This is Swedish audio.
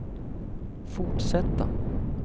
fortsätta